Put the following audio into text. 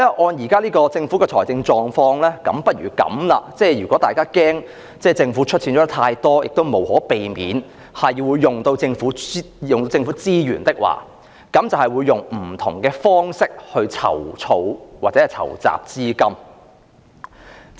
按照政府現時的財政狀況，如果大家害怕政府出資太多，亦無可避免會動用政府資源，那麼不如以不同方式籌措或籌集資金。